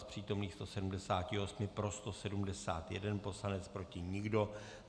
Z přítomných 178 pro 171 poslanců, proti nikdo.